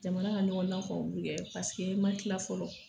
Jamana ka ɲɔgɔn san paseke i ma tila fɔlɔ.